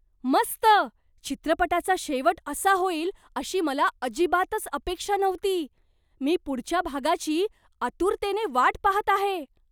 मस्त! चित्रपटाचा शेवट असा होईल अशी मला अजिबातच अपेक्षा नव्हती. मी पुढच्या भागाची आतुरतेने वाट पाहत आहे.